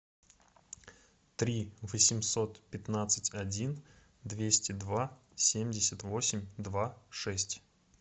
три восемьсот пятнадцать один двести два семьдесят восемь два шесть